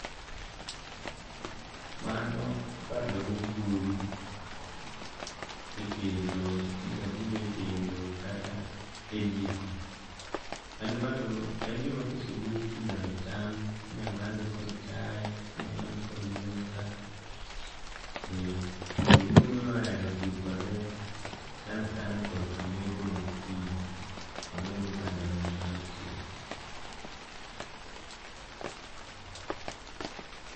Mano bando mobul´kendo. Inyalo bule e kendo kata e jiko. En gima kosebul to inyalo cham, inyalo madhe kod chae, inyalo madhe kod nyuka, ee joluo nohero tiyo kode sana sana korka metho ma gokinyi. Mano yudo ka ndalo ma bando ochiek.